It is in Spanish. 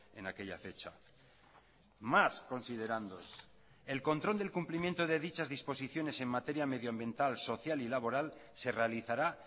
en aquella fecha más considerándoos el control del cumplimiento de dichas disposiciones en materia medioambiental social y laboral se realizará